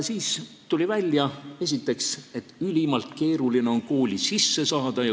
Siis tuli välja, et ülimalt keeruline on kooli sisse saada.